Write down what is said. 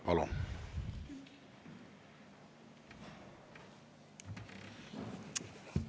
Palun!